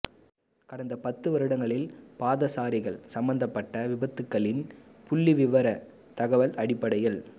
கடந்த பத்து வருடங்களில் பாதசாரிகள் சம்மந்தப்பட்ட விபத்துக்களின் புள்ளிவிபர தகவல் அடிப்படையில்